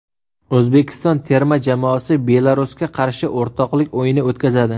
O‘zbekiston terma jamoasi Belarusga qarshi o‘rtoqlik o‘yini o‘tkazadi.